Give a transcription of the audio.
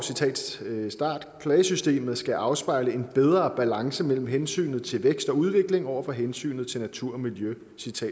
klagesystemet skal afspejle en bedre balance mellem hensynet til vækst og udvikling over for hensynet til natur og miljø